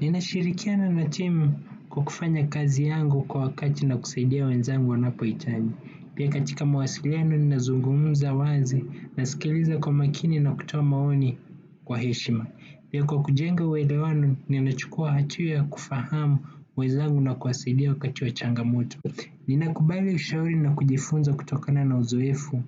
Ninashirikiana na timu kwa kufanya kazi yangu kwa wakati na kusaidia wenzangu wanapo hitaji. Pia katika mawasiliano ninazungumza wazi nasikiliza kwa makini na kutoa maoni kwa heshima. Pia kwa kujenga uelewano ninachukua hatua ya kufahamu wenzangu na kuwasaidia wakati wachangamoto. Ninakubali ushauri na kujifunza kutokana na uzoefu